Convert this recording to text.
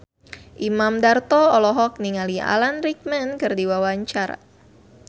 Imam Darto olohok ningali Alan Rickman keur diwawancara